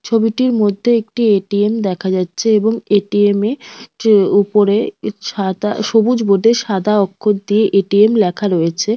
ছবিটির মধ্যে একটি এ.টি.এম দেখা যাচ্ছে এবং এ.টি.এম এ যে উপরে ছাতা সবুজ বোর্ডে সাদা অক্ষর দিয়ে এ.টি.এম লেখা রয়েছে।